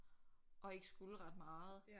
At ikke skulle ret meget